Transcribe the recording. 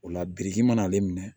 O la biriki mana ale minɛ